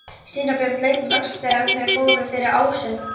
Síra Björn leit um öxl þegar þeir fóru fyrir ásinn.